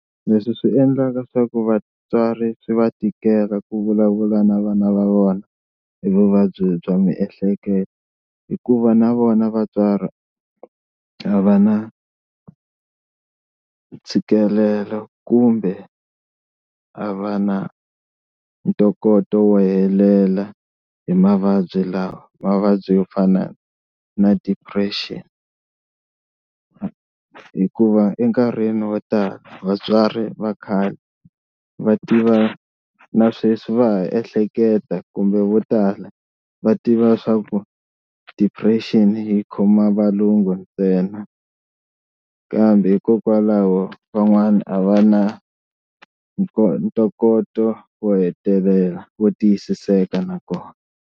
Leswi swi endlaka swa ku vatswari swi va tikela ku vulavula na vana va vona hi vuvabyi bya miehleketo hikuva na vona vatswari a va na ntshikelelo kumbe a va na ntokoto wo helela hi mavabyi lawa, mavabyi yo fana na depression hikuva enkarhini wo tala vatswari va khale va tiva na sweswi va ha ehleketa kumbe vo tala va tiva leswaku depression yi khoma valungu ntsena kambe hikokwalaho van'wana a va na ntokoto wo hetelela vo tiyisiseka na kona.